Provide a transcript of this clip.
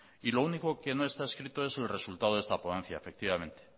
y lo único que no está escrito es el resultado de esta ponencia efectivamente